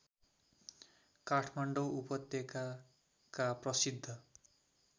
काठमाडौँ उपत्यकाका प्रसिद्ध